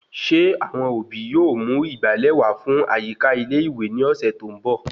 Ṣé àwọn òbí yóò mú ìgbàlè wà fún àyíká ilé ìwé ni ọsẹ tó ń bọ?